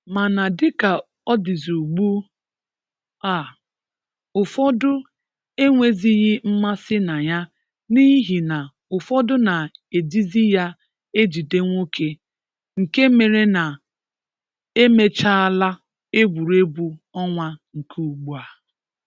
Mana dịka ọ dịzị ugbu a, ụfọdụ enwezighị mmasị na ya n’ihi na ụfọdụ na-ejizi ya ejide nwoke, nke mere na emechaala egwuregwu ọnwa nke ugbu a.